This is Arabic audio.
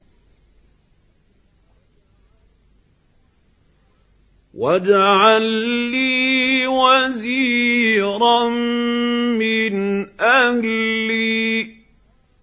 وَاجْعَل لِّي وَزِيرًا مِّنْ أَهْلِي